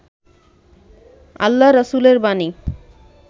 আল্লা-রছুলের বাণী